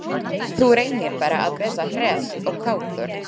Þú reynir bara að vera hress og kátur!